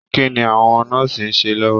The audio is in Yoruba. Kínní àwọn nọ́ọ́sí n ṣe lọwọ?